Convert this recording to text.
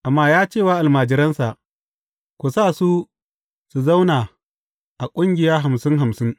Amma ya ce wa almajiransa, Ku sa su su zauna a ƙungiya hamsin hamsin.